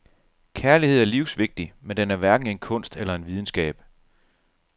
Kærlighed er livsvigtig, men den er hverken en kunst eller en videnskab.